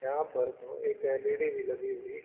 यहा पर दो एक एल_इ_डी भी लगी हुई।